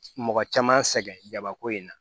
Mɔgɔ caman sɛgɛn jabako in na